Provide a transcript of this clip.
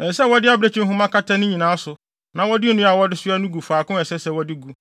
Ɛsɛ sɛ wɔde abirekyi nhoma kata ne nyinaa so na wɔde nnua a wɔde soa no gu faako a ɛsɛ sɛ wɔde gu.